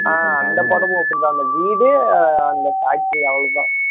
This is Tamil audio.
ஆஹ் அந்த படமும் okay தான் அந்த வீடு அந்த பாட்டி அவ்வளவுதான்